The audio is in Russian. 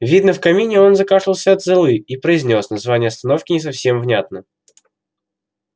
видно в камине он закашлялся от золы и произнёс название остановки не совсем внятно